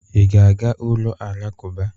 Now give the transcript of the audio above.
Ị ga-aga ụlọ alakụba?